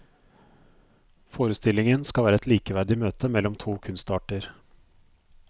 Forestillingen skal være et likeverdig møte mellom to kunstarter.